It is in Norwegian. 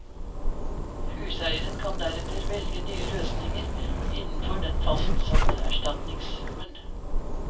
Huseieren kan deretter velge nye løsninger innenfor den fastsatte erstatningssummen.